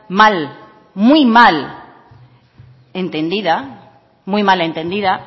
mal muy mal entendida